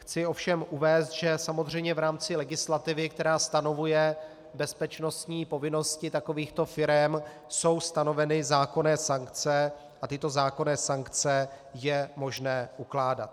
Chci ovšem uvést, že samozřejmě v rámci legislativy, která stanovuje bezpečnostní povinnosti takovýchto firem, jsou stanoveny zákonné sankce a tyto zákonné sankce je možné ukládat.